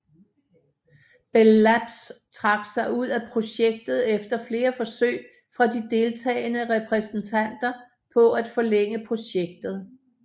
Bell Labs trak sig ud af projektet efter flere forsøg fra de deltagende repræsentanter på at forlænge projektet